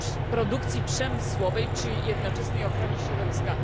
produkcji przemysłowej przy jednoczesnej ochronie środowiska.